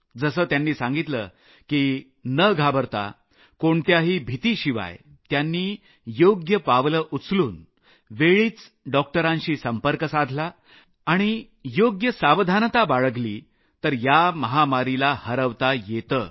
जसं त्यांनी सांगितलं की न घाबरता कोणत्याही भीतीशिवाय त्यांनी योग्य पावलं उचलून वेळीच डॉक्टरांशी संपर्क साधला आणि योग्य सावधानता बाळगली तर या महामारीला हरवता येतं